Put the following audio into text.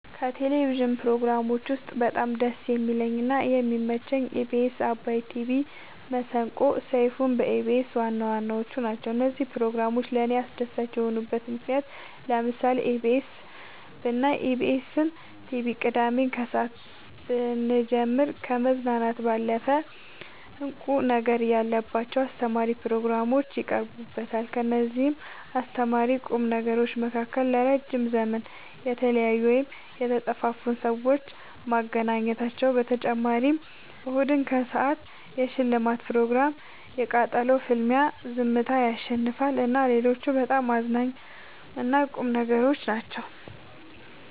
ከቴሌቭዥን ፕሮግራሞች ውስጥ በጣም ደስ የሚለኝ እና የሚመቸኝ ኢቢኤስ አባይ ቲቪ መሰንቆ ሰይፋን በኢቢኤስ ዋናዋናዎቹ ናቸው። እነዚህ ፕሮግራሞች ለእኔ አስደሳች የሆኑበት ምክንያት ለምሳሌ ኢቢኤስ ብናይ ኢቢኤስን ቲቪ ቅዳሜ ከሰአት ብንጀምር ከመዝናናት ያለፈ እንቁ ነገር ያለባቸው አስተማሪ ፕሮግራሞች ይቀርቡበታል ከእነዚህም አስተማሪና ቁም ነገሮች መካከል ለረዥም ዘመን የተለያዩን ወይም የተጠፋፉትን ሰዎች ማገናኘታቸው በተጨማሪም እሁድን ከሰአት የሽልማት ፕሮግራም የቃጠሎ ፍልሚያ ዝምታ ያሸልማል እና ሌሎችም በጣም አዝናኝ እና ቁም ነገሮች ናቸው።